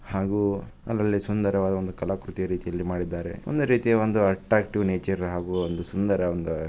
ಹಾಗೂ ಅಲ್ಲಲ್ಲಿ ಸುಂದರವಾದ ಒಂದು ಕಲಾಕೃತಿಯ ರೀತಿಯಲ್ಲಿ ಮಾಡಿದ್ದಾರೆ. ಒಂದು ರೀತಿಯ ಒಂದು ಅಟ್ರಾಕ್ಟಿವ್ ನೇಚರ್ ಹಾಗೂ ಒಂದು ಸುಂದರ ಒಂದ--